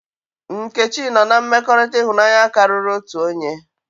Nkechi nọ na mmekọrịta ịhụnanya karịrị otú onye.